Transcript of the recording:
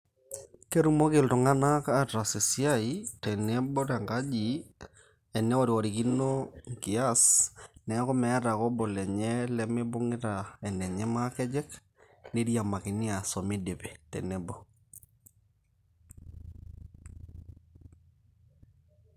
Ketumoki itung'anak ataas esiai tenebo tenkaji, eneworiworikino inkias neeku meeta ake obo lenye lemibungita enenye makejek, niriamakini aas omidipi tenebo.